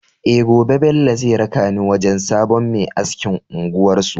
Eh Gobe Bello zai raka ni wajan sabon Me askin unguwar su